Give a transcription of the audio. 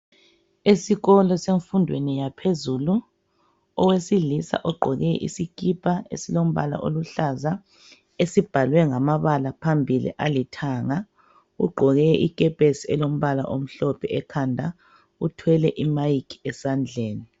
Esikolo semfundweni yaphezulu owesilisa ogqoke isikipa esilombala oluhlaza esibhalwe ngamabala phambilii alithanga ugqoke ikepesi elombala omhlophe ekhanda uthwele imayikhi esandleni.